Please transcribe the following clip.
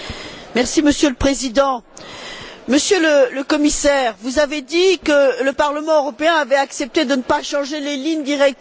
Monsieur le Président, Monsieur le Commissaire, vous avez dit que le Parlement européen avait accepté de ne pas changer les lignes directrices.